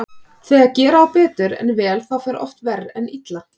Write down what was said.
Þegar gera á betur en vel þá fer oft verr en illa.